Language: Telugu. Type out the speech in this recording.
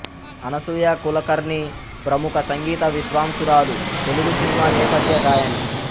అనసూయ కులకర్ణి ప్రముఖ సంగీత విద్వాంసురాలు తెలుగు సినిమా నేపథ్య గాయని